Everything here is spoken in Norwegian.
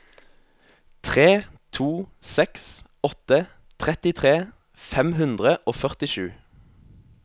tre to seks åtte trettitre fem hundre og førtisju